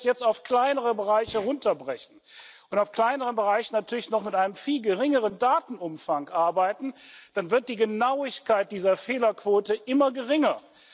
Und wenn wir das jetzt auf kleinere Bereiche herunterbrechen und auf kleineren Bereichen natürlich mit einem noch viel geringeren Datenumfang arbeiten, dann wird die Genauigkeit dieser Fehlerquote immer geringer.